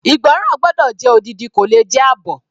Ìgbọ́ràn gbọ́dọ̀ jẹ́ odidi kò le jẹ́ àbọ̀.